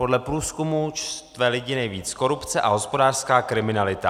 Podle průzkumu štve lidi nejvíc korupce a hospodářská kriminalita.